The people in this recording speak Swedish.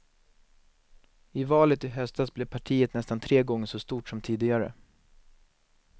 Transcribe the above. I valet i höstas blev partiet nästan tre gånger så stort som tidigare.